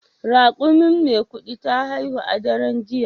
Raƙumin Maikudi ta haihu a daren jiya.